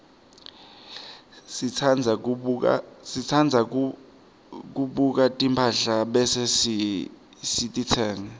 sitsandza kubuka timphahla bese sititsenga